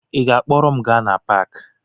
Ị ga-akpọrọ m gaa na paakị?